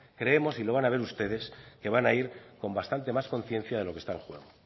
creemos y lo van a ver ustedes que van a ir con bastante más conciencia de lo que está en juego